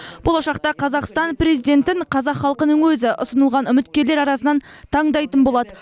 болашақта қазақстан президентін қазақ халқының өзі ұсынылған үміткерлер арасынан таңдайтын болады